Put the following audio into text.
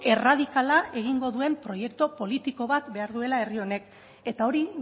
erradikala egingo duen proiektu politiko bat behar duela herri honek eta hori